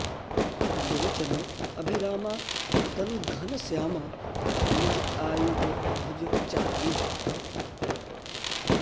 लोचन अभिरामा तनु घनस्यामा निज आयुध भुज चारी